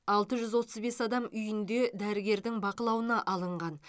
алты жүз отыз бес адам үйінде дәрігердің бақылауына алынған